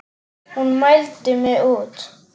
Hún mældi mig út.